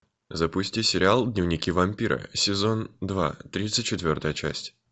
запусти сериал дневники вампира сезон два тридцать четвертая часть